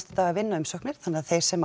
daga að vinna umsóknir þannig að þeir sem